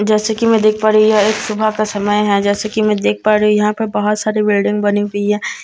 जैसे कि मैं देख पा रही हूं यह एक सुबह का समय है जैसे कि मैं देख पा रही हूं यहां पे बहोत सारी बिल्डिंग बनी हुई है।